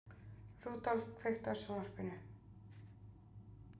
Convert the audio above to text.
Rudolf, kveiktu á sjónvarpinu.